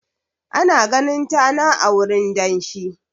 Ana ganin tana a wurin danshi.